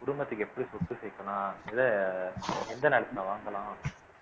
குடும்பத்துக்கு எப்படி சொத்து சேர்க்கலாம் இத எந்த நேரத்துல வாங்கலாம்